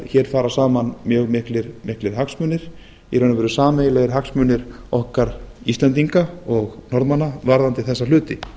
hér fara saman mjög miklir hagsmunir í raun og veru sameiginlegir hagsmunir okkar íslendinga og norðmanna varðandi þessa hluti